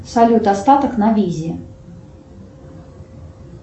салют остаток на визе